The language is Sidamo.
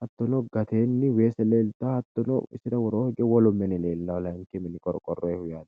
hattono badhesinni hige lamu qorqorote mini leellanni no